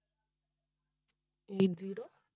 eight zero